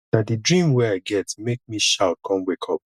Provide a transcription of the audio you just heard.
na di dream wey i get make me shout com wake up